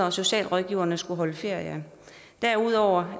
at socialrådgiverne skulle holde ferie derudover